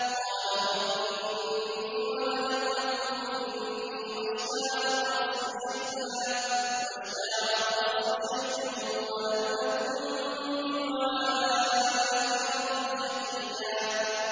قَالَ رَبِّ إِنِّي وَهَنَ الْعَظْمُ مِنِّي وَاشْتَعَلَ الرَّأْسُ شَيْبًا وَلَمْ أَكُن بِدُعَائِكَ رَبِّ شَقِيًّا